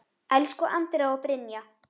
Elsku Andrea og Brynja.